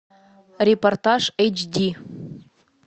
репортаж эйч ди